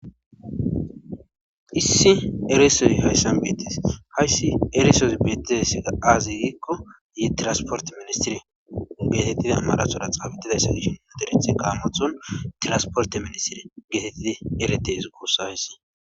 Issi erise hayssan beetees. Hayssi erisezi beetizayssi aaze giiko yetinasport ministre geteidi amaratora xaafetidayssa gidishin dey'ays gaamotho tirsport ministire getetidi eretees guussa hayss.